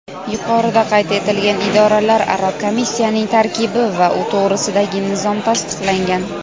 yuqorida qayd etilgan idoralararo komissiyaning tarkibi va u to‘g‘risidagi nizom tasdiqlangan.